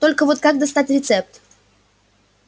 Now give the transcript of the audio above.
только вот как достать рецепт